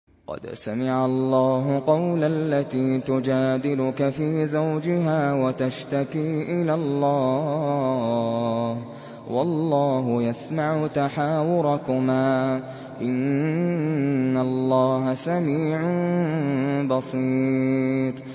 قَدْ سَمِعَ اللَّهُ قَوْلَ الَّتِي تُجَادِلُكَ فِي زَوْجِهَا وَتَشْتَكِي إِلَى اللَّهِ وَاللَّهُ يَسْمَعُ تَحَاوُرَكُمَا ۚ إِنَّ اللَّهَ سَمِيعٌ بَصِيرٌ